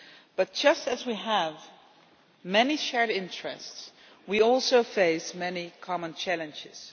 But just as we have many shared interests, we also face many common challenges.